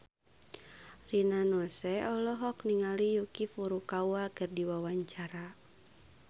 Rina Nose olohok ningali Yuki Furukawa keur diwawancara